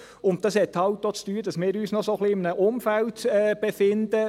Dies hat damit zu tun, dass wir uns noch in einem solchen Umfeld befinden: